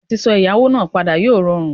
Àtisan ẹ̀yáwó náà padà yóò rọrùn